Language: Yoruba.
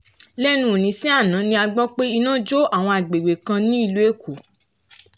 lẹ́nu òní sí àná ni a gbọ́ pé iná jó àwọn agbègbè kan ní ìlú èkó